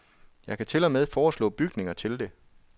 Jeg kan til og med foreslå bygninger til det.